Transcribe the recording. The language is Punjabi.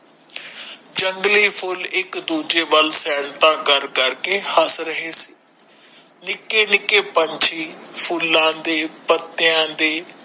ਜੰਗਲੀ ਫੁੱਲ ਇਕ ਦੂਜੇ ਵੱਲ ਫੈਲਤਾ ਕਰ ਕਰ ਕੇ ਹੱਸ ਰਹੇ ਸੀ ਨਿਕੇ ਨਿਕੇ ਪੰਛੀ ਫੂਲਾ ਦੇ ਪਤੇਯਾ ਦੇ